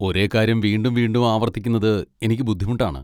ഒരേ കാര്യം വീണ്ടും വീണ്ടും ആവർത്തിക്കുന്നത് എനിക്ക് ബുദ്ധിമുട്ടാണ്.